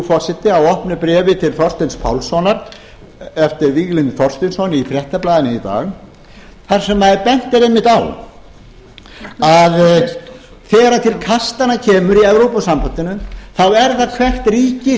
forseti á opnu bréfi til þorsteins pálssonar eftir víglund þorsteinsson í fréttablaðinu í dag þar sem bent er einmitt á að þegar til kastanna kemur í evrópusambandinu er það hvert ríki